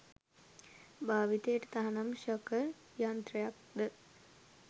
භාවිතයට තහනම් ශකර් යන්ත්‍රයක්ද